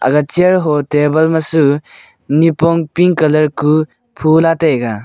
aga chear ho table ma chu iapong pink colour ku phula taiga.